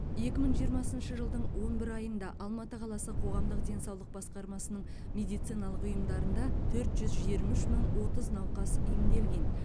екі мың жиырмасыншы жылдың он бір айында алматы қаласы қоғамдық денсаулық басқармасының медициналық ұйымдарында төрт жүз жиырма үш мың отыз науқас емделген